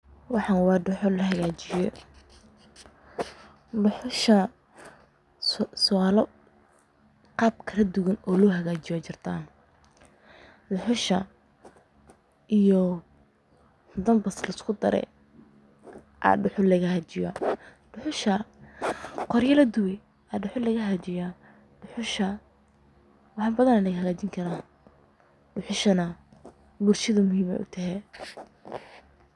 Waxan wa dhuxul oo lahagajiye, dhuxusha qab badan oo lohagajiyo aya jirta. Dhuxusha iyo dambas laiskudare aya lagahagajiya qoryo ladube ayay dhuxusha lagahagajiye, dhuxusha wax badan aya lagahagajini kara oo bulshada muhiim ayey utahay.